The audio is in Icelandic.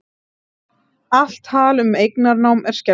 Allt tal um eignarnám er skelfilegt